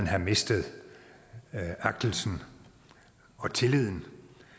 have mistet agtelsen og tilliden